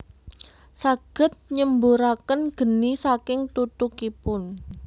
Saged nyemburaken geni saking tutukipun